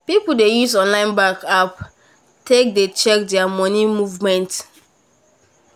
people dey use online bank app take dey check there money movement movement